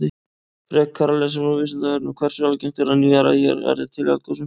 Frekara lesefni á Vísindavefnum: Hversu algengt er að nýjar eyjar verði til í eldgosum?